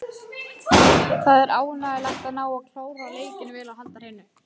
Það er ánægjulegt að ná að klára leikinn vel og halda hreinu.